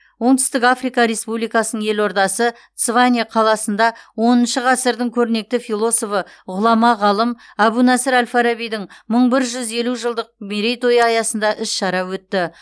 оңтүстік африка республикасының елордасы цване қаласында оныншы ғасырдың көрнекті философы ғұлама ғалым әбу насыр әл фарабидің мың бір жүз елу жылдық мерейтойы аясында іс шара өтті